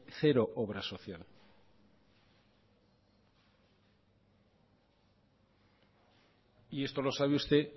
cero obra social y esto lo sabe usted